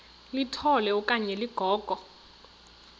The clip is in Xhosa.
litola okanye ligogo